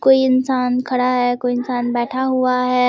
कोई इंसान खड़ा है कोई इंसान बैठा हुआ है।